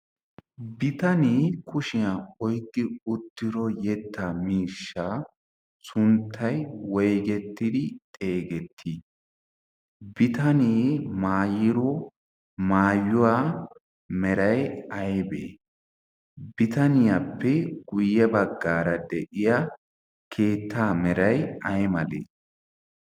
Bitanee kushiyaan oyqqidi uttido yetta miishsha sunttay woyggetidi xeegeeti? bitanee maayido maaayuwa meray aybbe? bitaniyaappe guyye baggar de'iyaa keetta meray aymale?